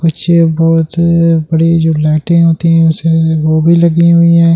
कुछ बहुत बड़ी जो लाइटें होती हैं उसे वो भी लगी हुई है।